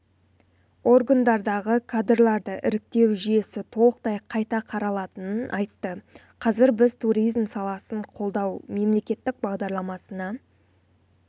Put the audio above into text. органдарындағы кадрларды іріктеу жүйесі толықтай қайта қаралатынын айтты қазір біз туризм саласын қолдау мемлекеттік бағдарламасына